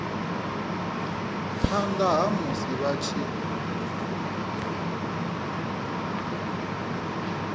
phanda ha musi vha tshi